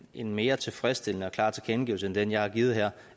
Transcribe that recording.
en mere tilfredsstillende og klar tilkendegivelse end den jeg har givet her